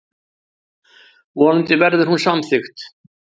Vonandi verður hún samþykkt.